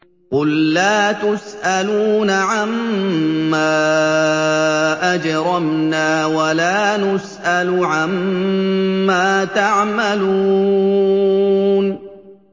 قُل لَّا تُسْأَلُونَ عَمَّا أَجْرَمْنَا وَلَا نُسْأَلُ عَمَّا تَعْمَلُونَ